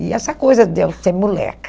E essa coisa de eu ser moleca.